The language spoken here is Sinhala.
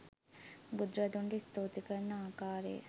බුදුරදුන්ට ස්තුති කරන ආකාරය